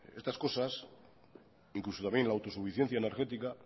estas cosas incluso también la autosuficiencia energética